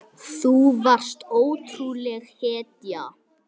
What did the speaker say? Þú varst ótrúleg hetja.